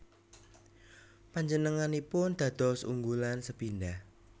Panjenenganipun dados unggulan sepindhah